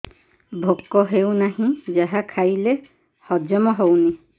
ଭୋକ ହେଉନାହିଁ ଯାହା ଖାଇଲେ ହଜମ ହଉନି